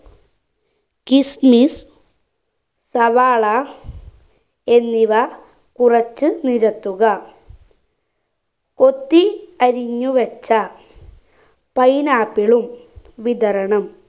kismis സവാള എന്നിവ കുറച്ച് നിരത്തുക കൊത്തി അരിഞ്ഞു വച്ച pineapple ഉം വിതറണം